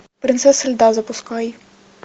принцесса льда запускай